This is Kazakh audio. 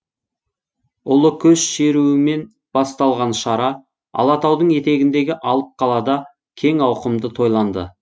ұлы көш шеруімен басталған шара алатаудың етегіндегі алып қалада кең ауқымды тойланды